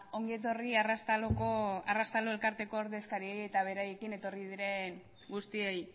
ongi etorri arraztalo elkarteko ordezkariei eta beraiekin etorri diren guztiei